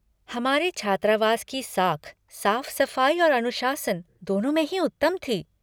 हमारे छात्रावास की साख साफ़ सफ़ाई और अनुशासन, दोनों में ही उत्तम थी।